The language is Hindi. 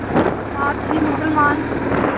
साथ ही मुसलमान